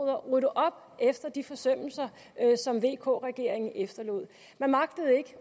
at rydde op efter de forsømmelser som vk regeringen efterlod man magtede ikke